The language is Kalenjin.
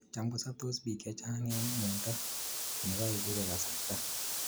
Cham kosaptos pik chechang ing miondo ni kaek ipe kasarta.